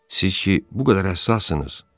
Siz ki bu qədər həssassınız.